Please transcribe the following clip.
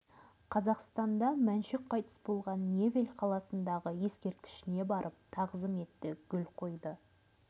қазақстанда мәншүк қайтыс болған невель қаласындағы ескерткішіне барып тағзым етті гүл қойды